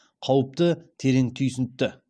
қауіпті терең түйсінтті